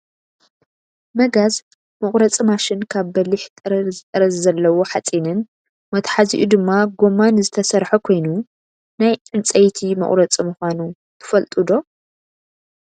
መጋዝ መቁረፂ ማሽን ካብ በሊሕ ጠረዝጠረዝ ዘለዎ ሓፂንን መትሓዚኡ ድማ ጎማን ዝተሰረሓ ኮይኑ፣ ናይ ዕንፀይቲ መቁረፂ ምኳኑ ትፈልጡ ዶ ?